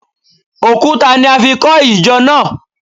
Òkúta ni a fi kọ ìjọ náà